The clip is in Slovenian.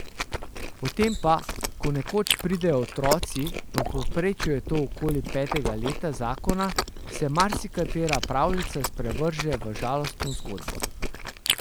Potem pa, ko nekoč pridejo otroci, v povprečju je to okoli petega leta zakona, se marsikatera pravljica sprevrže v žalostno zgodbo.